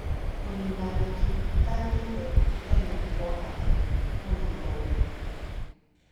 Kũniina nyeki itagĩrĩire tene nĩ kwa bata mũno tondũ